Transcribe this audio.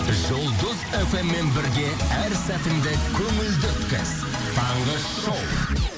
жұлдыз фммен бірге әр сәтіңді көңілді өткіз таңғы шоу